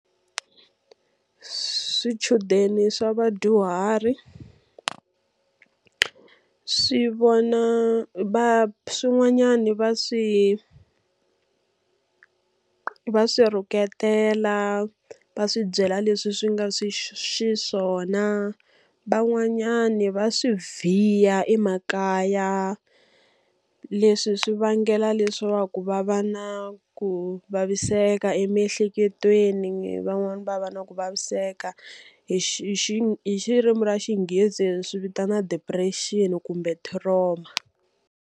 Swichudeni swa vadyuhari swi vona swin'wanyani va swi va swi rhuketela, va swi byela leswi swi nga xiswona. Van'wanyani va swi vhiya emakaya. Leswi swi vangela leswaku va va na ku vaviseka emiehleketweni, van'wani va va na ku vaviseka hi hi hi ririmi ra xinghezi hi swi vitana depression kumbe trauma.